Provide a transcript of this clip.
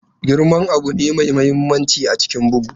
Girman abu ne mai mahimmanci a cikin bugu.